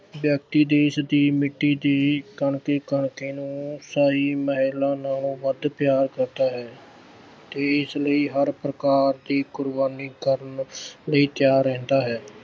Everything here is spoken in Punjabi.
ਵਿਅਕਤੀ ਦੇਸ਼ ਦੀ ਮਿੱਟੀ ਦੀ ਕਣਕੀ-ਕਣਕੀ ਨੂੰ ਸ਼ਾਹੀ ਮਹਿਲਾਂ ਨਾਲੋਂ ਵੱਧ ਪਿਆਰ ਕਰਦਾ ਹੈ ਤੇ ਇਸ ਲਈ ਹਰ ਪ੍ਰਕਾਰ ਦੀ ਕੁਰਬਾਨੀ ਕਰਨ ਅਹ ਲਈ ਤਿਆਰ ਰਹਿੰਦਾ ਹੈ।